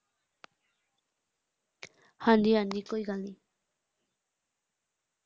ਹਾਂਜੀ ਹਾਂਜੀ ਕੋਈ ਗੱਲ ਨੀ।